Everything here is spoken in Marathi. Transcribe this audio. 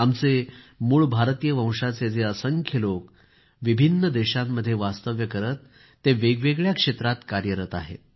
आमचे मूळ भारतीय वंशाचे जे असंख्य लोक विभिन्न देशांमध्ये वास्तव्य करत ते वेगवेगळ्या क्षेत्रात कार्यरत आहेत